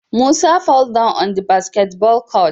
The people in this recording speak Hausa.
Musa fall down on the basketball court